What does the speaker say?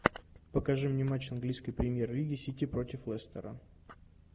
покажи мне матч английской премьер лиги сити против лестера